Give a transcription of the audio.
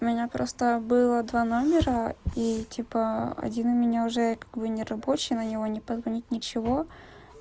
у меня просто было два номера и типа один у меня уже как бы нерабочий на него не позвонить ничего